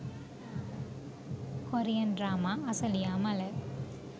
korean drama asaliya mala